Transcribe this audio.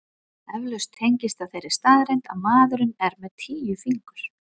Eflaust tengist það þeirri staðreynd að maðurinn er með tíu fingur.